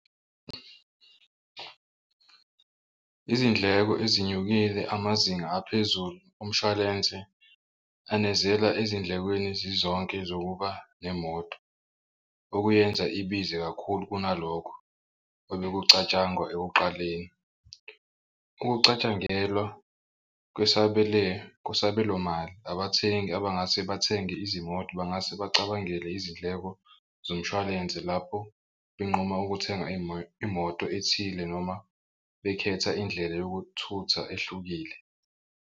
Izindleko ezinyukile amazinga aphezulu omshwalense anezela ezindlekweni zizonke zokuba nemoto okuyenza ibize kakhulu kunalokho ebekucatshangwa ekuqaleni. Ukucatshangelwa kwesabelomali abathengi abangase bathenge izimoto bangase bacabangele izindleko zomshwalense lapho benquma ukuthenga imoto ethile noma bekhetha indlela yokuthutha ehlukile.